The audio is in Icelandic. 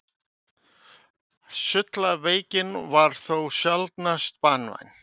sullaveikin var þó sjaldnast banvæn